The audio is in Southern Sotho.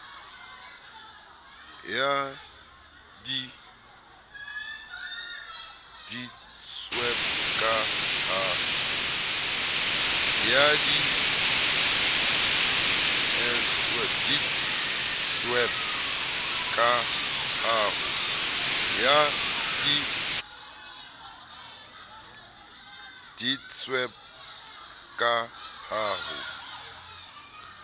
ya deedsweb ka ha ho